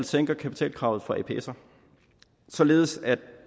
sænker kapitalkravet for apser således at